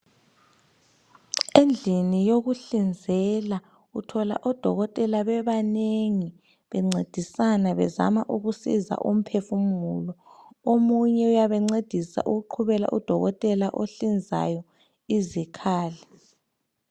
Endlini yokuhlinzela uthola odokotela bebanengi bencedisana bezama ukusiza umphefumulo. Omunye uyabencedisa ukuqhubela udokotela ohlinzayo izikhali.